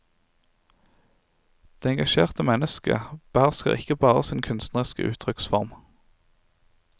Det engasjerte mennesket behersker ikke bare sin kunstneriske uttrykksform.